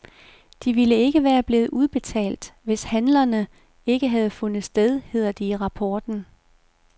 De ville ikke være blevet udbetalt, hvis handlerne ikke havde fundet sted, hedder det i rapporten.